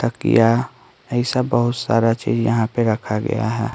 का किया ऐसा बहुत सारा चीज यहां पे रखा गया है।